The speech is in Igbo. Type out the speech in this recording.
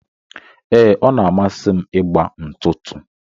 Ee, ọ na amasi m ịgba ntụtụ.